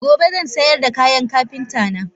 Gobe zansayarda kayan Kapinta na.